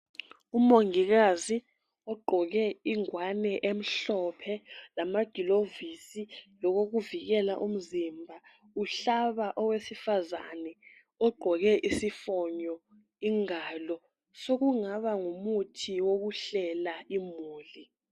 Umongikazi ogqoke ingwane emhlophe , lamagilovisi lokokuvikela umzimba. Uhlaba owesifazane ogqoke isifonyo ingalo ,sokungaba ngumuthi wokuhlela imhuli.